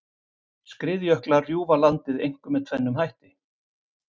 Skriðjöklar rjúfa landið einkum með tvennum hætti.